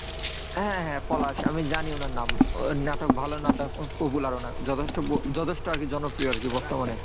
হ্যাঁ হ্যাঁ পলাশ আমি জানি উনার নাম। ওর নাটক ভালো নাটক ওর popular অনেক যথেষ্ট যথেষ্ট আর কি জনপ্রিয় আর কি বর্তমানে।